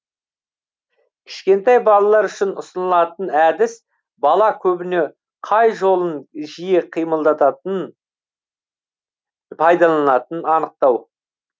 кішкентай балалар үшін ұсынылатын әдіс бала көбіне қай жолын жиі қимылдататын пайдаланатын анықтау